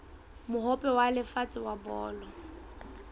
mohope wa lefatshe wa bolo